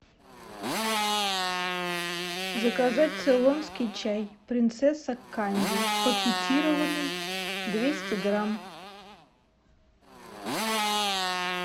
заказать цейлонский чай принцесса канди пакетированный двести грамм